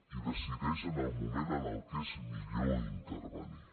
i decideix en el moment en què és millor intervenir